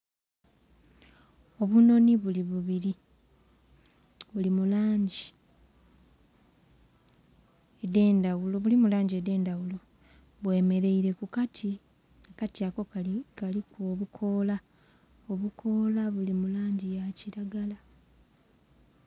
Obunhonhi buli bubiri buli mulangi edhendhaghulo bwemereire kukati ,akati ako kaliku obukola obukola buli mulangi ya kiragala